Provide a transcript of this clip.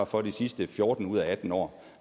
for de sidste fjorten ud af atten år